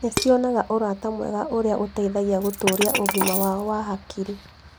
Nĩ cionaga ũrata mwega ũrĩa ũteithagia gũtũũria ũgima wao wa hakiri.